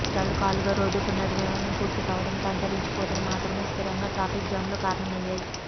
కష్టాలు కాలుగా రోడ్డు పునర్నిర్మాణం పూర్తికావడంతో అంతరించిపోతాయి మాత్రమే స్థిరంగా ట్రాఫిక్ జామ్లు కారణమయ్యాయి